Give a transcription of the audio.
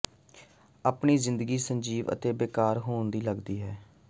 ਆਪਣੀ ਜ਼ਿੰਦਗੀ ਸੰਜੀਵ ਅਤੇ ਬੇਕਾਰ ਹੋਣ ਦੀ ਲਗਦੀ ਹੈ